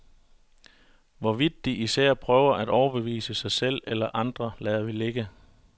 Hvorvidt de især prøver at overbevise sig selv eller andre lader vi ligge.